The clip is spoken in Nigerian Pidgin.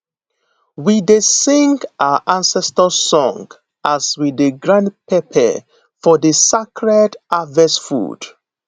we dey sing our ancestor song as we dey grind pepper for di sacred harvest food